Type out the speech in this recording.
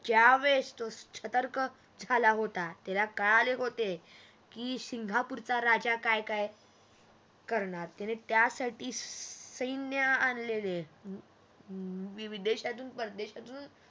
ज्या वेळेस तो सतर्क झाला होता त्याला कळाले होते कीसिंगापूरच्या राजा काय काय करणार तर त्या साठी सैन्य आणलेले विविध देशातून परदेशातून